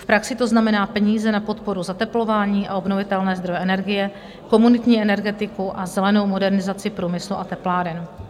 V praxi to znamená peníze na podporu zateplování a obnovitelné zdroje energie, komunitní energetiku a zelenou modernizaci průmyslu a tepláren.